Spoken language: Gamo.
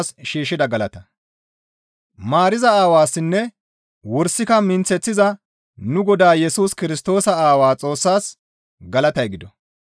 Maariza Aawassinne wursika minththeththiza nu Godaa Yesus Kirstoosa Aawaa Xoossaas galatay gido.